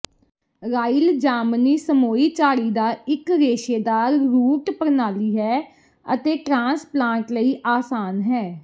royal ਜਾਮਨੀ ਸਮੋਈ ਝਾੜੀ ਦਾ ਇੱਕ ਰੇਸ਼ੇਦਾਰ ਰੂਟ ਪ੍ਰਣਾਲੀ ਹੈ ਅਤੇ ਟ੍ਰਾਂਸਪਲਾਂਟ ਲਈ ਆਸਾਨ ਹੈ